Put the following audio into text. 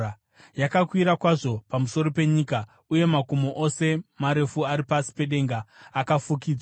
Yakakwira kwazvo pamusoro penyika, uye makomo ose marefu ari pasi pedenga akafukidzwa.